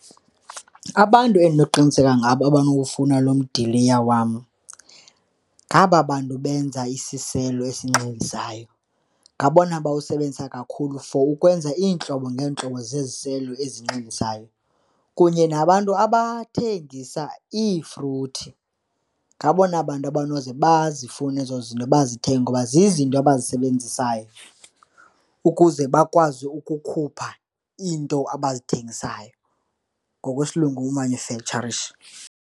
Abantu endinoqiniseka ngabo abanokufuna loo mdiliya wam ngaba bantu benza isiselo esinxilisayo. Ngabona bawusebenzisa kakhulu for ukwenza iintlobo ngeentlobo zesiselo ezinxilisayo kunye nabantu abathengisa iifruthi, ngabona bantu abanoze bazifune ezo zinto, bazithenge kuba zizinto abazisebenzisayo ukuze bakwazi ukukhupha iinto abazithengayo, ngokwesilungu umanufektsharisha.